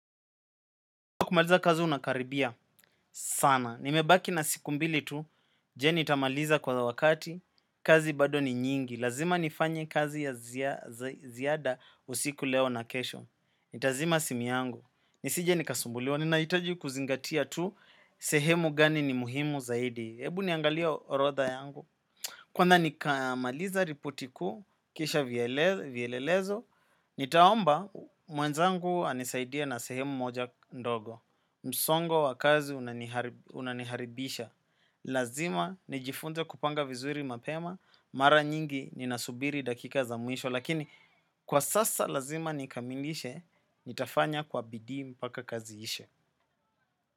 Wa kumaliza kazi unakaribia sana, nimebaki na siku mbili tu, je nitamaliza kwa wakati, kazi bado ni nyingi, lazima nifanye kazi ya ziada usiku leo na kesho, nitazima simu yangu, nisi je nikasumbuliwa, ninahijitaji kuzingatia tu, sehemu gani ni muhimu zaidi, ebu niangalia orodha yangu. Kwa nza nikaamaliza ripoti kuu, kisha vielelezo, nitaomba mwenzangu anisaidia na sehemu moja ndogo. Msongo wakazi unaniharibisha. Lazima nijifunze kupanga vizuri mapema, mara nyingi ninasubiri dakika za mwisho. Lakini kwa sasa lazima nikamilishe, nitafanya kwa bidii mpaka kazi ishe.